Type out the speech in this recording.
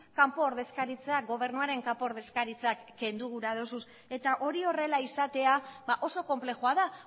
kanpo ordezkaritza gobernuaren kanpo ordezkaritzak kendu gura duzu eta hori horrela izatea oso konplexua da